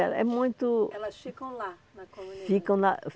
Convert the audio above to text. é é muito... Elas ficam lá na comunidade? Ficam na